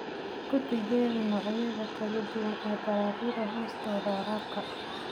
Ku tijaabi noocyada kala duwan ee dalagyada hoostooda waraabka.